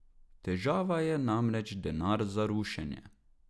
Težava je namreč denar za rušenje.